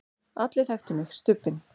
allir þekktu mig, Stubbinn.